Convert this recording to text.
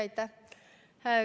Aitäh!